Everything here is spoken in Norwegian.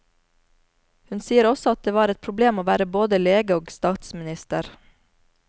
Hun sier også at det var et problem å være både lege og statsminister.